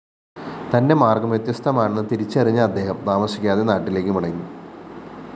തന്റെ മാര്‍ഗ്ഗം വ്യത്യസ്തമാണെന്ന്‌ തിരിച്ചറിഞ്ഞ അദ്ദേഹം താമസിക്കാതെ നാട്ടിലേക്കുമടങ്ങി